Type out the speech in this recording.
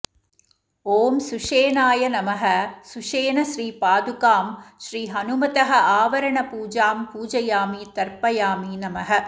ॐ सुषेणाय नमः सुषेणश्रीपादुकां श्रीहनुमतः आवरणपूजा पूजयामि तर्पयामि नमः